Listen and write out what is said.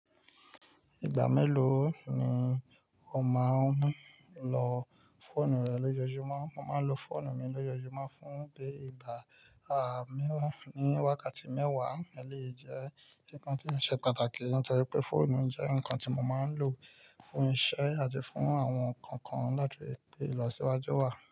Ìgbà mélòó ni o máa ń lo fóònù rẹ lójoojúmọ́? Mò màà n lò fòònù mì lòòjòjùmọ fùn bè gà à mù fùn wààkààti mèwà, èlèyìì jẹ nkàn ti ò ṣè pààtààki nitòòrì wipè fòònù jẹ nkàn ti mò màà n lò fùn isẹ ati fùn awòn nkànkàn làti rì pè ilọsi iwàju wàà.